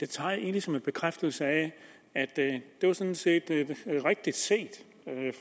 tager jeg egentlig som en bekræftelse af at det sådan set var rigtig set